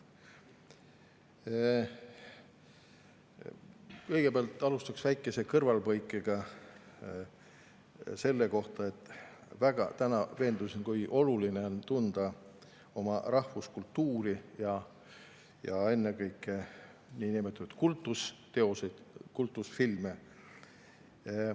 Kõigepealt alustan väikese kõrvalepõikega selle kohta, et täna veendusin, kui oluline on tunda oma rahvuskultuuri ja ennekõike niinimetatud kultusteoseid, kultusfilme.